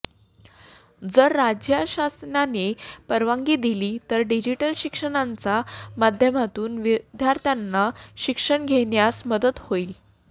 जर राज्यशासनाने परवानगी दिली तर डिजिटल शिक्षणाच्या माध्यमातून विद्यार्थ्यांना शिक्षण घेण्यास मदत होईल